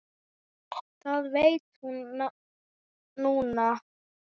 Það veit hún núna.